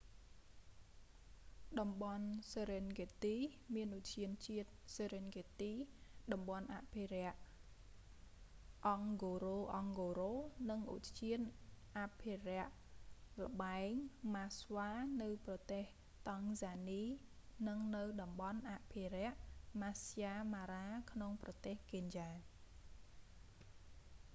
តំបន់ serengeti សេរិនហ្គេតទី មានឧទ្យានជាតិ serengeti តំបន់អភិរក្ស ngorongoro អង់ហ្គោរ៉ូអង់ហ្គោរ៉ូ និងឧទ្យានអភិរក្សល្បែងម៉ាស្វា maswa game reserve នៅប្រទេសតង់ហ្សានី និងនៅតំបន់អភិរក្ស maasai mara ម៉ាស្សាយ ម៉ារ៉ា ក្នុងប្រទេសកេនយ៉ា